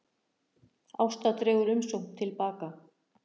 Ásta dregur umsókn til baka